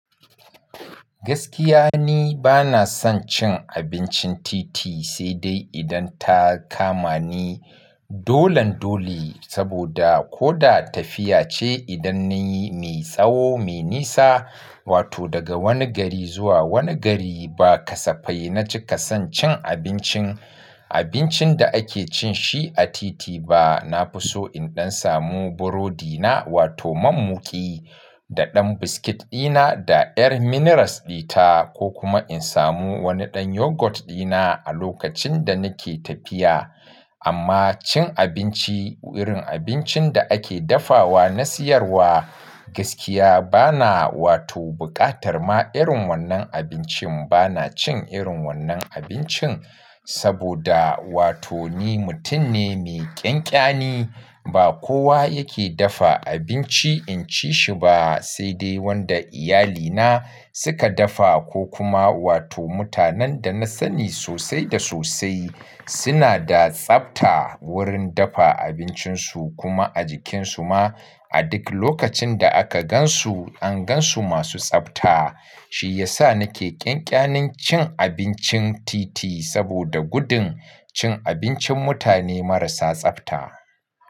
Gaskiya ni bana son cin abincin titi, sai dai idan ta kama ni dolan dole, saboda ko da tafiya ce idan nayi mai tsawo, mai nisa, wato daga wani gari zuwa wani gari ba kasafai na ci kasan cin abincin, abincin da ake cin shi a titi ba. Na fi so in ɗan samu burodi na wato mammuki da ɗan biskit ɗina da ƴar minerals ɗita ko kuma in samu wani ɗan yogurt ɗina a lokacin da nake tafiya. Amma cin abinci irin abincin da ake dafawa na siyarwa gaskiya bana wato buƙatar ma irin wannan abincin bana cin irin wannan abincin saboda wato ni mutum ne mai ƙyanƙyane. Ba kowa yake dafa abinci in ci shi ba sai dai wanda iyalina suka dafa ko kuma wato mutanen da na sani sosai da sosai suna da tsafta wurin dafa abincinsu kuma a jikinsu ma a duk lokacin da aka gan su an gan su masu tsafta. Shi ya sa nake ƙyanƙyanin cin abincin titi saboda gudun cin abincin mutane marasa tsafta.